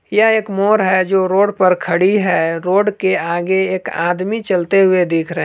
यह एक मोर है जो रोड पर खड़ी है रोड के आगे एक आदमी चलते हुए दिख रहे--